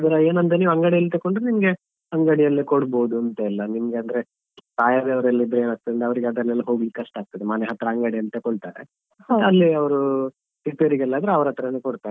ಆದ್ರೆ ಏನಂದ್ರೆ ನೀವು ಅಂಗಡಿಯಲ್ಲಿ ತೆಕ್ಕೊಂಡ್ರೆ ನಿಮ್ಗೆ ಅಂಗಡಿಯಲ್ಲಿ ಕೊಡ್ಬಹುದಂತೆಲ್ಲ ನಿಮ್ಗೆ ಅಂದ್ರೆ ಪ್ರಾಯದವರೆಲ್ಲ ಇದ್ರೆ ಏನಾಗ್ತದೆ ಅವ್ರಿಗೆ ಅದನ್ನೆಲ್ಲ ಕೊಡ್ಲಿಕ್ಕೆ ಕಷ್ಟ ಆಗ್ತದೆ ಮನೆ ಹತ್ರ ಅಂಗಡಿಯಲ್ಲಿ ತಕೊಳ್ತಾರೆ ಅಲ್ಲಿ ಅವರು ರಿಪೇರಿಗೆಲ್ಲಾದ್ರೆ ಅವ್ರತ್ರನೇ ಕೊಡ್ತಾರೆ.